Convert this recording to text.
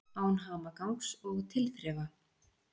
Án hamagangs og tilþrifa.